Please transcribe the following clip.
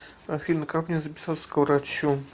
афина как мне записаться к врачу